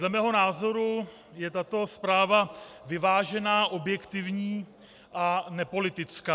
Dle mého názoru je tato zpráva vyvážená, objektivní a nepolitická.